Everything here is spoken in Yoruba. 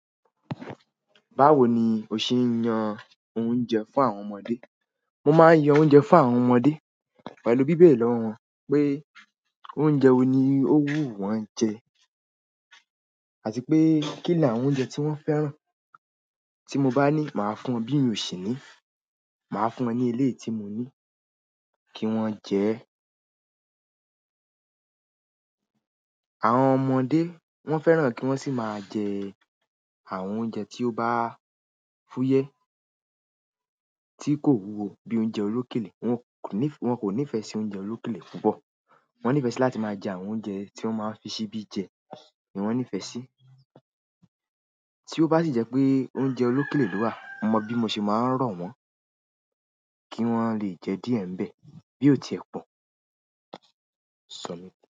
Báwo ni o ṣe ń yan oúnjẹ fún àwọn ọmọdé? Mo máa ń yan oúnjẹ fún àwọn ọmọdé pẹ̀lú bíbẹ̀re lọ́ wọn pé oúnjẹ wo ni ó wù wọ́n jẹ, àti pé kí ni àwọn oúnjẹ tí wọ́n fẹ́ràn. Tí mo bá ní, màá fún wọn bí mi oṣì ni, màá fún wọn ní ilé tí mo ní kí wọ́n jẹ ẹ́. Àwọn ọmọdé wọ́n fẹ́ràn kí wọ́n sì máa jẹ àwọn oúnjẹ tí ó bá fúyẹ́ tí kò wúwo bí i oúnjẹ olókèlè. Wọn kò nífẹ̀ẹ́ sí oúnjẹ olókèlè púpọ̀. Wọ́n nífẹ̀ẹ́ láti máa jẹ àwọn oúnjẹ tí wọ́n máa ń fi ṣíbí jẹ ni wọ́n nífẹ̀ẹ́ sí. Tí ó bá sì jẹ́ pé oúnjẹ olókèlè ló wà, mo mọ̀ bí mo ṣe máa ń ro wọ́n kí wọ́n lè jẹ díẹ̀ nbẹ bí o ti è po.